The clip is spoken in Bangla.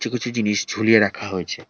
কিছু জিনিস ঝুলিয়ে রাখা হয়েছে।